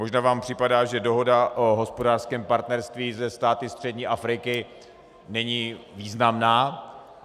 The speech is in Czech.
Možná vám připadá, že dohoda o hospodářském partnerství se státy střední Afriky není významná.